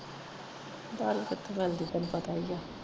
ਦਾਰੂ ਕਿਥੋਂ ਮਿਲਦੀ ਤੈਨੂੰ ਪਤਾ ਈ ਆ।